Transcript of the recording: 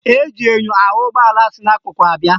Eji enyo ahụ ụgbọala si n'akụkụ abịa